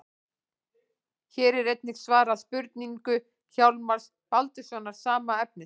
Hér er einnig svarað spurningu Hjálmars Baldurssonar, sama efnis.